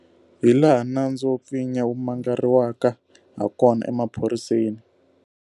Hilaha nandzu wo pfinya wu mangariwaka hakona emaphoriseni.